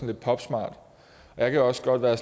lidt popsmart jeg kan også godt være